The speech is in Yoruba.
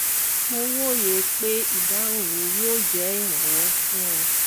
mo wòye pé ìdáhùn mi yóò jẹ́ ìrànwọ́ fún ọ